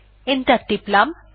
enter টিপলাম